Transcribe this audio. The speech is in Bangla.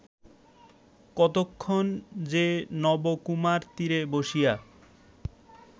কতক্ষণ যে নবকুমার তীরে বসিয়া